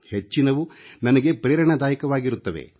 ಹೆಚ್ಚಿನವು ನನಗೆ ಪ್ರೇರಣಾದಾಯಕವಾಗಿರುತ್ತವೆ